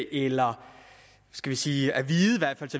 eller skal vi sige